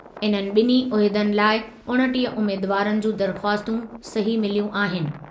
इन्हनि ॿिन्ही उहिदनि लाइ उणिटीह उमेदवारनि जूं दरख़्वास्तूं सही मिलियूं आहिनि।